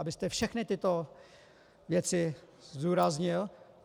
Abyste všechny tyto věci zdůraznil.